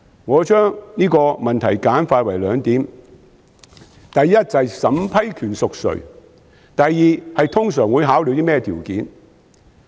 我將這個問題簡化為兩點：第一，是審批權誰屬；第二，是通常會考慮甚麼條件。